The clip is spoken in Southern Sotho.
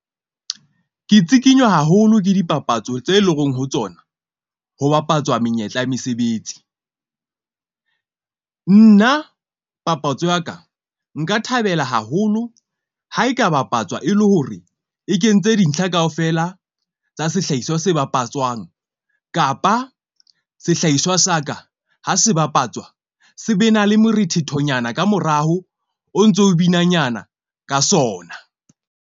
Ke tsikinywa haholo ke dipapatso tse leng hore, ho tsona ho bapatswa menyetla ya mesebetsi. Nna papatso ya ka nka thabela haholo ha e ka bapatswa, e le hore e kentse dintlha kaofela tsa sehlahiswa se bapatswang kapa sehlahiswa sa ka ha se bapatswa, se be na le morethethonyana ka morao o ntso binanyana ka sona.